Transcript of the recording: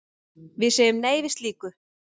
Við segjum nei við slíku.